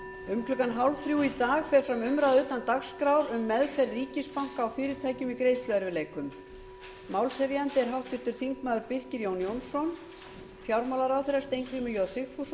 um klukkan tvö þrjátíu í dag fer fram umræða utan dagskrár um meðferð ríkisbanka og fyrirtækja í greiðsluerfiðleikum málshefjandi er háttvirtur þingmaður birkir jón jónsson fjármálaráðherra steingrímur j sigfússon verður